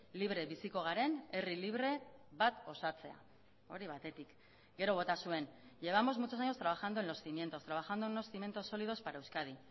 libre biziko garen herri libre bat osatzea hori batetik gero bota zuen llevamos muchos años trabajando en los cimientos trabajando en unos cimientos sólidos para euskadi